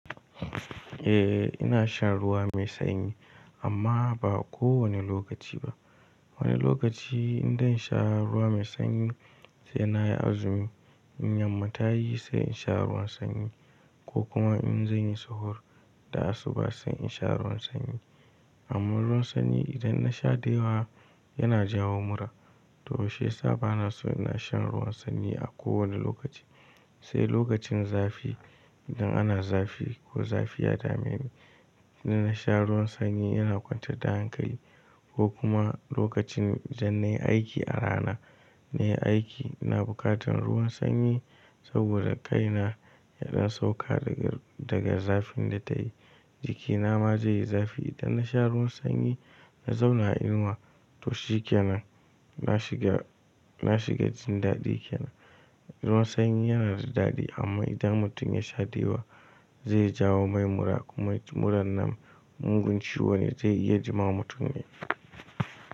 Eh ina shan ruwa mai sanyi amma ba kowane lokaci ba. Wani lokaci in zansha ruwa mai sanyi, sai nayi azumi, in yamma tayi sai insha ruwan sanyi ko kuma in zanyi sahur da asuba sai in sha ruwan sanyi. Amma ruwan sanyi idan nasha da yawa yana jawo mura toh shiyasa banaso ina shan ruwan sanyi a kowani lokaci. Sai lokacin zafi idan ana zafi ko zafi ya dameni idan nasha ruwan sanyi yana kwantar da hankali ko kuma lokacin idan nayi aiki a rana nayi aiki ina bukatan ruwan sanyi saboda kaina yana sauka daga zafin da tayi jikina ma zaiyi zafi idan nasha ruwan sanyi na zauna a inuwa toh shikenan na shiga, na shiga jin dadi kenan. Ruwan sanyi yanada dadi amma idan mutum yasha dayawa zai jawo mai mura kuma murar nan mugun ciwone zai iya jima mutum ne.